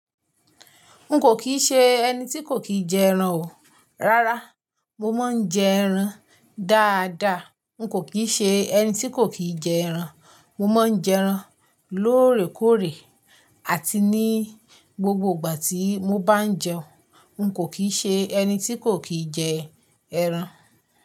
N kò kì ṣe ẹni tí kò kí jẹ ẹran o. Rárá, mo máa ń jẹ ẹran dáadáa. N kò kìí ṣe ẹni tí kò kí jẹ ẹran. Mo máa ń jẹ ẹran lóòrèkóòrè àti ní gbogbo ìgbà tí mo bá jẹun. N kò kì se ẹni tí kò kí jẹ ẹran.